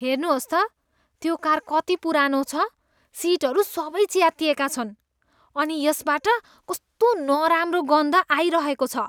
हेर्नुहोस् त, त्यो कार कति पुरानो छ। सिटहरू सबै च्यातिएका छन् अनि यसबाट कस्तो नराम्रो गन्ध आइरहेको छ।